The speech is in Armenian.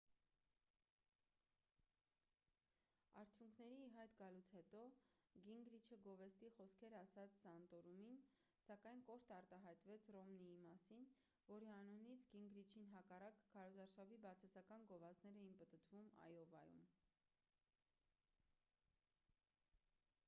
արդյունքների ի հայտ գալուց հետո գինգրիչը գովեստի խոսքեր ասաց սանտորումին սակայն կոշտ արտահայտվեց ռոմնիի մասին որի անունից գինգրիչին հակառակ քարոզարշավի բացասական գովազդներ էին պտտվում այովայում